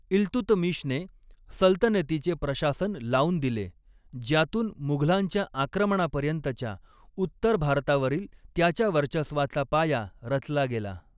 इल्तुतमिशने सल्तनतीचे प्रशासन लावून दिले, ज्यातून मुघलांच्या आक्रमणापर्यंतच्या उत्तर भारतावरील त्याच्या वर्चस्वाचा पाया रचला गेला.